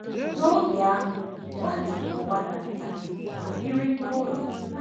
N’oge ahụ, Nwachukwu bụ nwata nta ma biri n’ụlọ.